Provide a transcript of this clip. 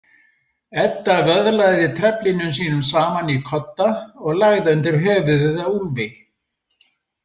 Edda vöðlaði treflinum sínum saman í kodda og lagði undir höfuðið á Úlfi.